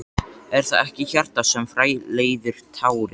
Er það ekki hjartað sem framleiðir tárin?